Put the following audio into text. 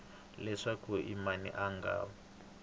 leswaku i mani a nga